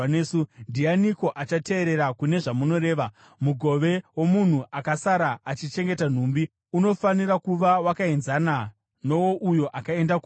Ndianiko achateerera kune zvamunoreva? Mugove womunhu akasara achichengeta nhumbi unofanira kuva wakaenzana nowouyo akaenda kuhondo.”